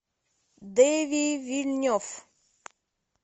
дени вильнев